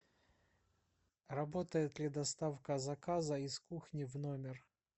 работает ли доставка заказа из кухни в номер